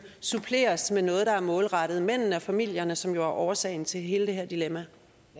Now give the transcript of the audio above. suppleres med noget der er målrettet mændene og familierne som jo er årsagen til hele det her dilemma